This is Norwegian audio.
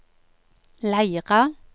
Leira